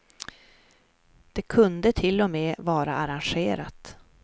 Det kunde till och med vara arrangerat.